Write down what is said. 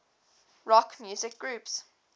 rock music groups